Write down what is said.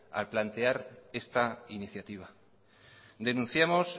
al plantear esta iniciativa denunciamos